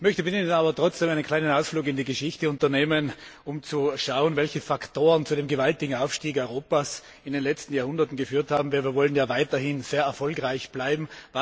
Ich möchte mit Ihnen aber trotzdem einen kleinen Ausflug in die Geschichte unternehmen, um zu schauen, welche Faktoren zu dem gewaltigen Aufstieg Europas in den letzten Jahrhunderten geführt haben, denn wir wollen ja weiterhin sehr erfolgreich bleiben.